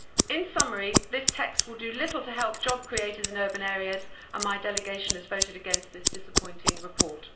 In summary, this text will do little to help job creators in urban areas, and my delegation has voted against this disappointing report.